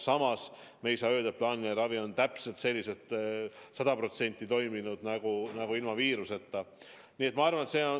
Samas ei saa öelda, et plaaniline ravi on sada protsenti toimunud nii nagu ilma viiruseta.